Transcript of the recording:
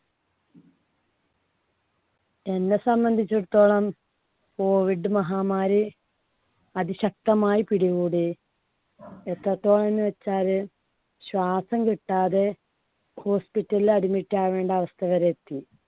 എന്നെ സംബന്ധിച്ചിടത്തോളം COVID മഹാമാരി അതിശക്തമായി പിടികൂടി. എത്രത്തോളം എന്ന് വെച്ചാല് ശ്വാസം കിട്ടാതെ hospital ലിൽ admit ആവേണ്ട അവസ്ഥ വരെ എത്തി.